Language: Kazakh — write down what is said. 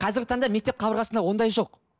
қазіргі таңда мектеп қабырғасында ондай жоқ